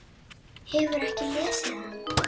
Hefurðu ekki lesið hann?